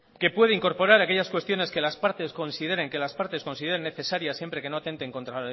que puede incorporar aquellas cuestiones que las partes consideren necesarias siempre que no atenten contra